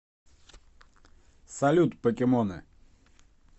салют покемоны